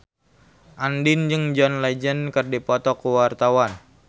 Andien jeung John Legend keur dipoto ku wartawan